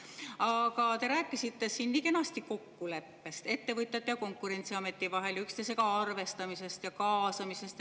Aga te rääkisite siin nii kenasti kokkuleppest ettevõtete ja Konkurentsiameti vahel, üksteisega arvestamisest ja kaasamisest.